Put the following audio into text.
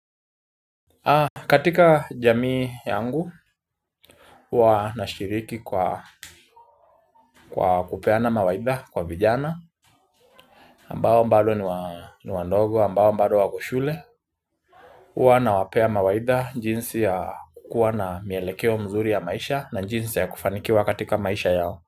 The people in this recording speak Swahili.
Katika jamii yangu huwa na shiriki kwa kupeana mawaidha kwa vijana ambao bado ni wadogo ambao bado wako shule huwa nawapea mawaidha njinsi ya kuwa na mielekeo mzuri ya maisha na jinsi ya kufanikiwa katika maisha yao.